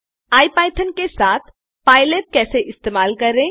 IPython के साथ PyLab कैसे इस्तेमाल करें